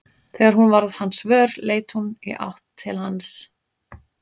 Þegar hún varð hans vör leit hún í átt til hans.